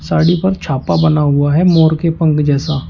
साड़ी पर छापा बना हुआ है मोर के पंख जैसा।